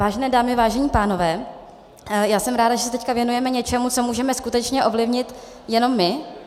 Vážené dámy, vážení pánové, já jsem ráda, že se teď věnujeme něčemu, co můžeme skutečně ovlivnit jenom my.